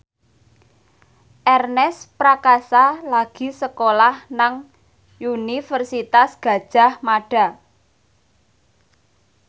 Ernest Prakasa lagi sekolah nang Universitas Gadjah Mada